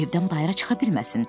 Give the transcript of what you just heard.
Evdən bayıra çıxa bilməsin.